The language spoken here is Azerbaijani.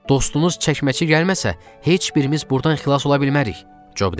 Dostumuz çəkməçi gəlməsə, heç birimiz burdan xilas ola bilmərik, Job dedi.